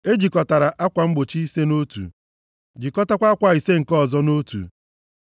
E jikọtara akwa mgbochi ise nʼotu, jikọtakwa akwa ise nke ọzọ nʼotu.